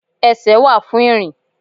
Esè wa fún irín